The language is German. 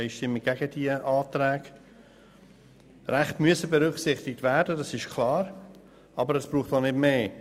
Es ist klar, dass die Rechte berücksichtigt werden müssen, aber es braucht nicht mehr.